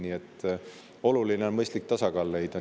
Nii et oluline on mõistlik tasakaal leida.